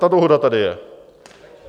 Ta dohoda tady je.